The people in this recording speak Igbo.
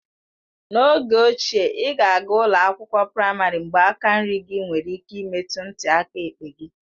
N'oge ochie, ị ga-aga ụlọ akwụkwọ praịmarị mgbe aka nri gị nwere ike imetụ ntị aka ekpe gị.